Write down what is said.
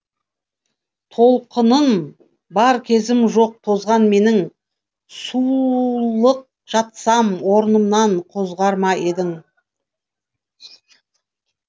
толқыным бар кезім жоқ тозған менің сұлық жатсам орнымнан қозғар ма едің